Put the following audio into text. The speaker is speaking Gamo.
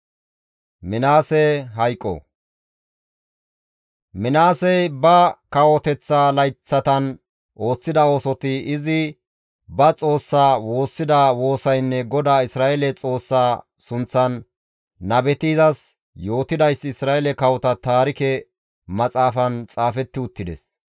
Minaasey ba kawoteththa layththatan ooththida oosoti, izi ba Xoossaa woossida woosaynne GODAA Isra7eele Xoossaa sunththan nabeti izas yootidayssi Isra7eele kawota Taarike Maxaafan xaafetti uttides.